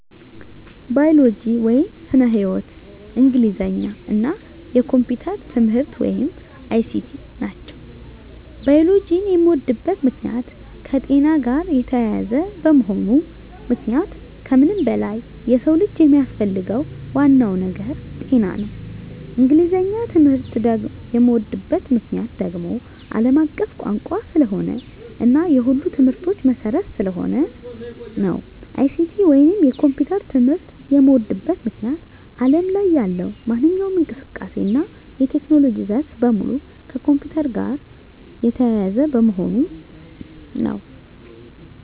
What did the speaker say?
ባዮሎጂ (ስነ-ህይዎት)፣ እንግሊዘኛ እና የኮምፒዩተር ትምህርት(ICT) ናቸው። ባዮሎጂን የምወድበት ምክንያት - የከጤና ጋር የተያያዘ በመሆኑ ምክንያቱም ከምንም በላይ የሰው ልጅ የሚያስፈልገው ዋናው ነገር ጤና ነው። እንግሊዘኛን ትምህርት የምዎድበት ምክንያት - አለም አቀፍ ቋንቋ ስለሆነ እና የሁሉም ትምህርቶች መሰረት ስለሆነ ነው። ICT ወይንም የኮምፒውተር ትምህርት የምዎድበት ምክንያት አለም ላይ ያለው ማንኛውም እንቅስቃሴ እና የቴክኖሎጂ ዘርፍ በሙሉ ከኮምፒውተር ጋር የተያያዘ በመሆኑ ነው።